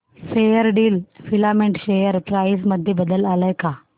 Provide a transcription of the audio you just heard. Fairdeal filament share price मध्ये बदल आलाय का